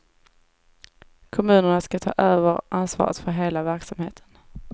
Kommunerna ska ta över ansvaret för hela verksamheten.